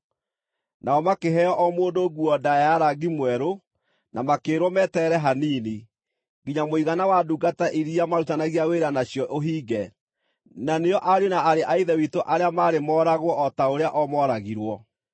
Nao makĩheo o mũndũ nguo ndaaya ya rangi mwerũ, na makĩĩrwo meterere hanini, nginya mũigana wa ndungata iria maarutithanagia wĩra nacio ũhinge, na nĩo ariũ na aarĩ a Ithe witũ arĩa maarĩ mooragwo o ta ũrĩa o mooragirwo.